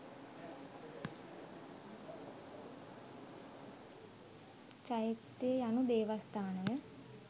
චෛත්‍ය යනු දේවස්ථානය